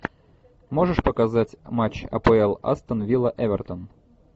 можешь показать матч апл астон вилла эвертон